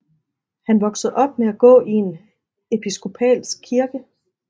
Han voksede op med at gå i en Episkopalsk kirke